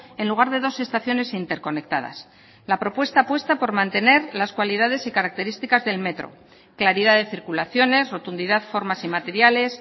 en lugar de dos estaciones interconectadas la propuesta apuesta por mantener las cualidades y características del metro claridad de circulaciones rotundidad formas y materiales